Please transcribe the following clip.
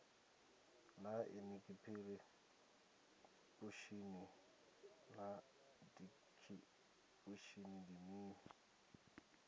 naa inikhiripushini na dikhipushin ndi mini